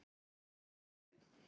Þær voru